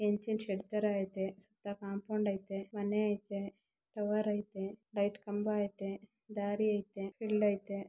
Engine shed ತರ ಐತೆ ಸುತ್ತ ಕಾಂಪೌಂಡ್ ಐತೆ ಮನೆ ಐತೆ ಟವರ್ ಐತೆ ಲೈಟ್ ಕಂಬ ಐತೆ ದಾರಿ ಐತೆ ಫೀಲ್ಡ್ ಐತೆ.